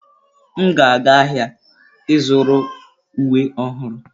M ga-aga ahịa ịzụrụ uwe ọhụrụ.